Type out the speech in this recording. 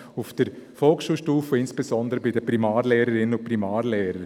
Vor allem betrifft dies die Volksschulstufe, insbesondere die Primarlehrerinnen und Primarlehrer.